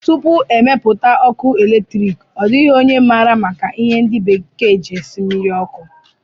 Tupu e mepụta ọkụ eletriki, ọ dịghị onye maara maka ihe ndi bekee ji esi mmiri ọkụ